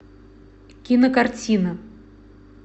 кинокартина